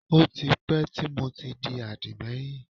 Ó ti pẹ́ tí mo ti di àdìmẹ́yìn